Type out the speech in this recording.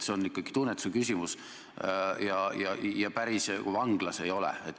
See on ikkagi tunnetuse küsimus ja päris vanglas me ei ole.